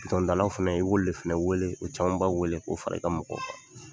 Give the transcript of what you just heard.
fana i b'olu le fana wele u camanba wele k'o fara i ka mɔgɔw kan.